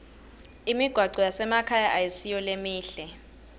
imigwaco yasemakhaya ayisiyo lemihle